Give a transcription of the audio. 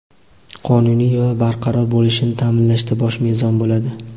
qonuniy va barqaror bo‘lishini ta’minlashda bosh mezon bo‘ladi.